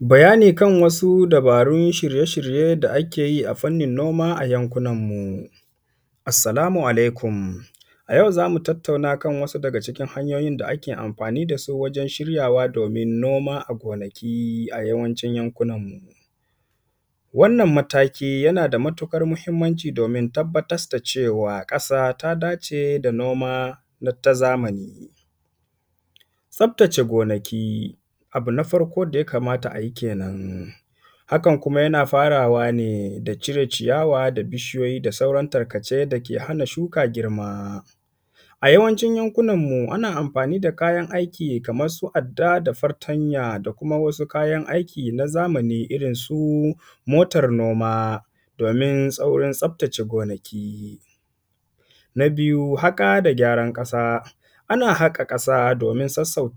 Bayani kan wasu dabarun shirye-shirye da ake yi a fannin noma a yankunanmu. Assalamu alaikum! A yau za mu tattauna kan wasu daga cikin hanyoyin da ake amfani da su wajen shiryawa domin noma a gonaki, a yawancin yankunanmu. Wannan mataki, yana da mutuƙar muhimmanci domin tabbatas da cewa, ƙasa ta dace da noma na; ta zamani. Tsaftace gonaki, abu na farko da ya kamata a yi kenan, hakan kuma yana faraway ne da cire ciyawa da bishiyoyi da sauran tarkace da ke hana shuka girma. A yawancin yankunanmu, ana amfani da kayan aiki, kaman su adda da fartanya da kuma wasu kayan aiki na zamani irin su motar noma, domin saurin tsaftace gonaki. Na biyu, haƙa da gyaran ƙasa, ana haƙa ƙasa domin sassau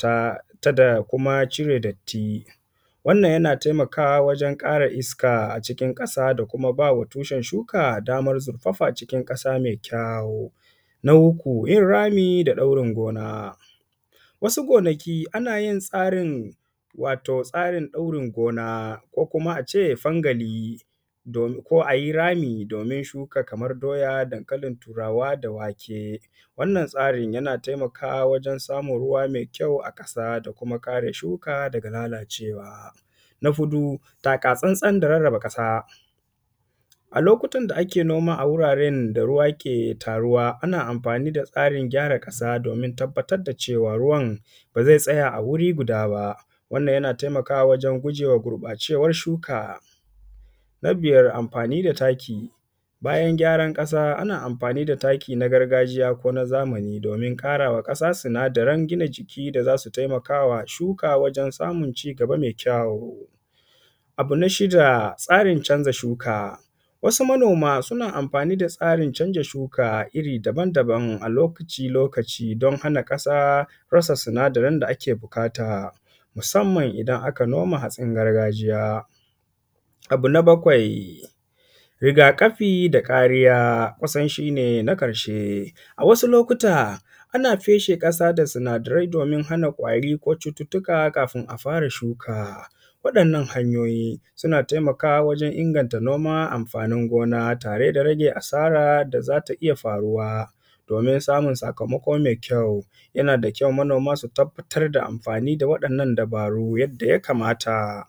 ta da kuma cire datti. Wannan, yana temakawa wajen ƙara iska a cikin ƙasa da kuma ba wa tushen shuka damar zurfafa cikin ƙasa me kyawo. Na uku, yin rami da ɗaurin gona, wasu gonaki, ana yi tsarin, wato tsarin ɗaurin gona ko kuma a ce fangali domin; ko a yi rami, domin shuka kaman doya, dankalin Turawa da wake. Wannan tsarin, yana taimakawa wajen samun ruwa me kyau a ƙasa da kuma kare shuka daga lalacewa. Na huɗu, taka-tsantsan da rarraba ƙasa, a lokutan da ke noma a wuraren da ruwa ke taruwa, ana amfani da tsarin gyara ƙasa domin tabbatad da cewa, ruwan ba ze tsaya a wuri guda ba. Wannan, yana taimakawa wajen guje wa gurƃacewar shuka. Na biyar, amfani da taki, bayan gyaran ƙasa, ana amfani da taki na gargajiya ko na zamani domin ƙara wa ƙasa sinadaran gina jiki da za su temaka wa shuka wajen samun cigaba me kyawu. Abu na shida, tsarin canza shuka, wasu manoma, suna amfani da tsarin canza shuka iri daban-daban a lokaci loakci, don hana ƙasa rasa sinadaran da ake buƙata, musamman idan aka noma hatsin gargajiya. Abu na bakwai, riga-ƙafi da kariya, kusan shi ne na ƙarshe, a wasu lokuta, ana feshe ƙasa da sinadarai domin hana ƙwari ko cututtuka fain a fara shuka. Waɗannan hanyoyi, suna taimakawa wajen inganta noman amfanin gona tare da rage asara da za ta iya faruwa, domin samun sakamako me kyau. Yana da kyau, manoma su tabbatar da amfani da waɗannan dabaru yadda ya kamata.